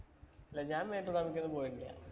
ഇല്ല ഞാൻ മേട്ടൂര്‍ dam ഇലേക്ക് ഒന്നും പോയിട്ടില്ല.